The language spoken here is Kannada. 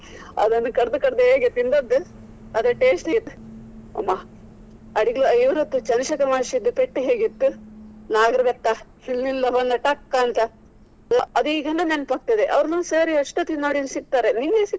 ಅದನ್ನು ಕದ್ದು ಕದ್ದು ಹೇಗೆ ತಿಂದದ್ದು ಅದೇ tasty ಇತ್ತು. ಅಡಿಗ ಇವ್ರದ್ದು ಚಂದ್ರಶೇಖರ್ ಮಾಷ್ಟ್ರಿದು ಪೆಟ್ಟು ಹೇಗೆ ಇತ್ತು. ನಾಗರಬೆತ್ತ ಹಿಂದಿನಿಂದ ಬಂದು ಟಕ್ ಅಂತ. ಅದು ಈಗಲೂ ನೆನಪಾಗ್ತದೆ ಅವ್ರ್ ನಮ್ಮ sir ಎಷ್ಟು ಹೊತ್ತಿಗೆ ನೋಡಿದ್ರು ಸಿಕ್ತಾರೆ ನಿಂಗೆ.